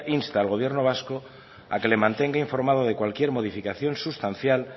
insta al gobierno vasco a que le mantenga informado de cualquier modificación sustancial